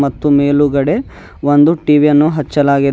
ಮತ್ತು ಮೇಲುಗಡೆ ಒಂದು ಟಿ_ವಿ ಅನ್ನು ಹಚ್ಚಲಾಗಿದೆ.